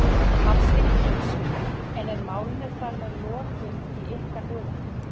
Hafsteinn Hauksson: En er málinu þar með lokið í ykkar huga?